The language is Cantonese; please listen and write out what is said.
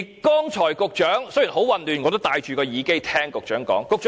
剛才雖然很混亂，但我也戴着耳機聽局長發言。